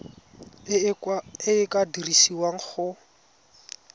e e ka dirisiwang go